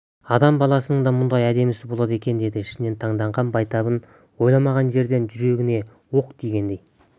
адам баласының да мұндай әдемісі болады екен деді ішінен таңданған байтабын ойламаған жерден жүрегіне оқ тигендей